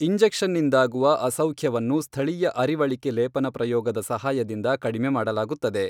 ಇಂಜೆಕ್ಷನ್ನಿಂದಾಗುವ ಅಸೌಖ್ಯವನ್ನು ಸ್ಥಳೀಯ ಅರಿವಳಿಕೆ ಲೇಪನ ಪ್ರಯೋಗದ ಸಹಾಯದಿಂದ ಕಡಿಮೆ ಮಾಡಲಾಗುತ್ತದೆ.